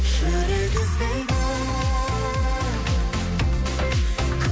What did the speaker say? жүрек іздейді